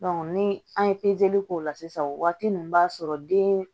ni an ye k'o la sisan o waati ninnu b'a sɔrɔ den